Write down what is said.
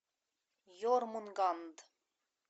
ермунганд